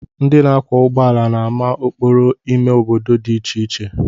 Ndị na-akwọ ụgbọala na-ama okporo ime obodo dị iche iche